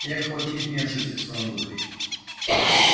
и охотник не ошибся в своём выборе